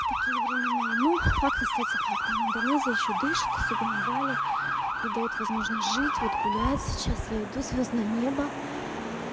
такие времена ну факт остаётся фактом индонезия ещё дышит особенно бали и даёт возможность жить вот гулять сейчас я иду звёздное небо